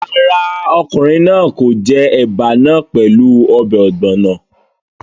Rárá, ọkùnrin náà kò jẹ ẹ̀bà náà pẹ̀lú ọbẹ̀ ọ̀gbọ̀nọ̀